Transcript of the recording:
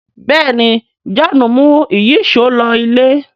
béèni John mú Ìyíṣòó ló ilé